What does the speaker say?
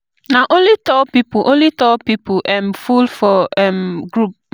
Na only tall pipo only tall pipo um full my um group